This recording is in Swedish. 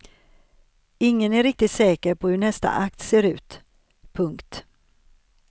Ingen är riktigt säker på hur nästa akt ser ut. punkt